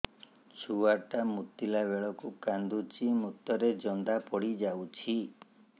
ଛୁଆ ଟା ମୁତିଲା ବେଳକୁ କାନ୍ଦୁଚି ମୁତ ରେ ଜନ୍ଦା ପଡ଼ି ଯାଉଛି